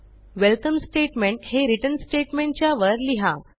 welcome statement हे return statement च्या वर लिहा